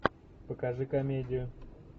покажи комедию